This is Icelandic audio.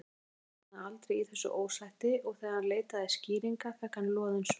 Bakarinn botnaði aldrei í þessu ósætti og þegar hann leitaði skýringa fékk hann loðin svör.